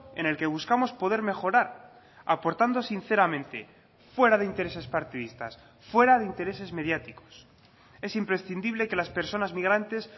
en el que buscamos poder mejorar aportando sinceramente fuera de intereses partidistas fuera de intereses mediáticos es imprescindible que las personas migrantes